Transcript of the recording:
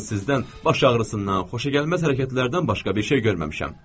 Mən sizdən baş ağrısından, xoşagəlməz hərəkətlərdən başqa bir şey görməmişəm.